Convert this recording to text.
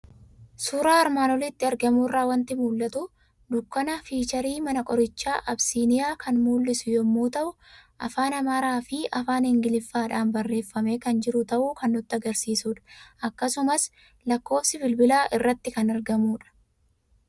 Suuraa armaan olitti argamu irraa waanti mul'atu; Dukkaana fiicharii mana qoricha Absiniyaa kan mul'su yommuu ta'u, afaan amaaraafi afaan ingiliffadhan barreeffame kan jiru ta'uu kan nutti agarsiisudha. Akkasumas lakkofsi bilbilaa irratti kan argmudha.